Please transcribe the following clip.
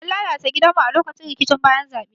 An lalata gidanmu a lokacin rikicin bayan zabe.